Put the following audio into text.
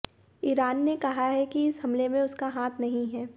Iran ने कहा है कि इस हमले में उसका हाथ नहीं है